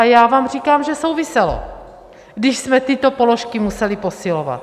A já vám říkám, že souviselo, když jsme tyto položky museli posilovat.